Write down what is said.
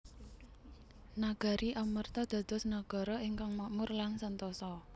Nagari Amarta dados nagara ingkang makmur lan sentosa